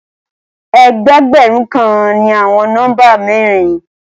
Ẹgbẹ̀ẹgbẹ̀run kàn ni àwọn nọ́mbà mẹ̀rìn.